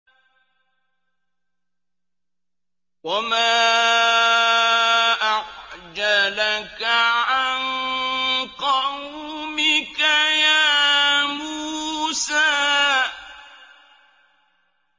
۞ وَمَا أَعْجَلَكَ عَن قَوْمِكَ يَا مُوسَىٰ